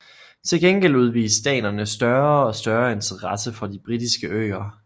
Til gengæld udviste danerne større og større interesse for de Britiske Øer